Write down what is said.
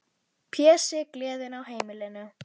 Pési, gleðin á heimilinu.